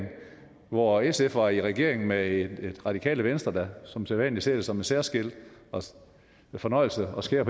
hvor sf var i regering med et radikale venstre der som sædvanlig så det som en særskilt fornøjelse at skære